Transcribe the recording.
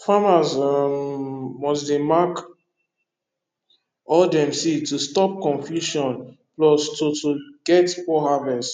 farmers um must dey mark all dem seed to stop confusion plus to to get poor harvest